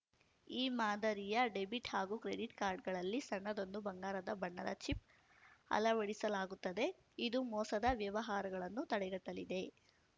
ಈ ಮಾದರಿಯ ಡೆಬಿಟ್‌ ಹಾಗೂ ಕ್ರೆಡಿಟ್‌ ಕಾರ್ಡ್‌ಗಳಲ್ಲಿ ಸಣ್ಣದೊಂದು ಬಂಗಾರದ ಬಣ್ಣದ ಚಿಪ್‌ ಅಳವಡಿಸಲಾಗುತ್ತದೆ ಇದು ಮೋಸದ ವ್ಯವಹಾರಗಳನ್ನು ತಡೆಗಟ್ಟಲಿದೆ